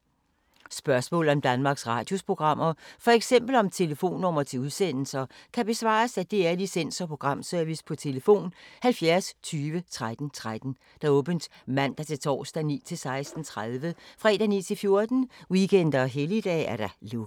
Spørgsmål om Danmarks Radios programmer, f.eks. om telefonnumre til udsendelser, kan besvares af DR Licens- og Programservice: tlf. 70 20 13 13, åbent mandag-torsdag 9.00-16.30, fredag 9.00-14.00, weekender og helligdage: lukket.